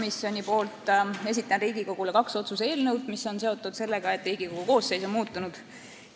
Esitan väliskomisjoni nimel Riigikogule kaks otsuse eelnõu, mis on seotud sellega, et Riigikogu koosseis on muutunud.